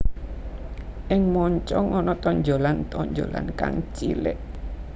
Ing moncong ana tonjolan tonjolan kang cilik